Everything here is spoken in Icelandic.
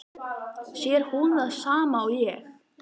Sér hún það sama og ég?